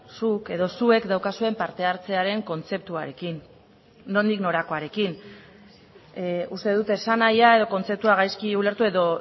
zuk edo zuek daukazuen parte hartzearen kontzeptuarekin nondik norakoarekin uste dut esanahia edo kontzeptua gaizki ulertu edo